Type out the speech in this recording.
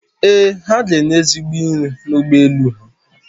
Ee, ha ga-enye ezigbo nri n'ụgbọ elu ha